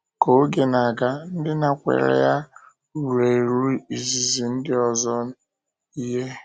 Ka oge na-aga, ndị nakwere ya ruru eru izizi ndị ọzọ ihe.